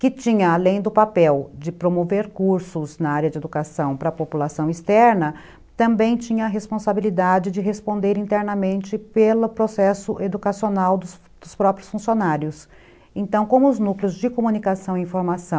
que tinha, além do papel de promover cursos na área de educação, para a população externa, também tinha a responsabilidade de responder internamente pelo processo educacional dos próprios funcionários. Então como os núcleos de comunicação e informação